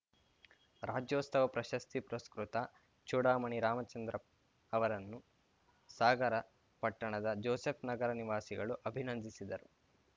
ರಾಜ್ಯೋತ್ಸವ ಪ್ರಶಸ್ತಿ ಪುರಸ್ಕೃತ ಚೂಡಾಮಣಿ ರಾಮಚಂದ್ರ ಅವರನ್ನು ಸಾಗರ ಪಟ್ಟಣದ ಜೋಸೆಫ್‌ನಗರ ನಿವಾಸಿಗಳು ಅಭಿನಂದಿಸಿದರು